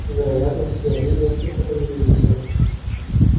вероятно все они несколько преувеличены